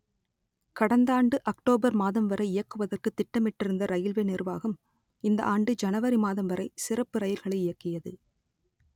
கடந்த ஆண்டு அக்டோபர் மாதம் வரை இயக்குவதற்கு திட்டமிட்டிருந்த ரயில்வே நிர்வாகம் இந்த ஆண்டு ஜனவரி மாதம் வரை சிறப்பு ரயில்களை இயக்கியது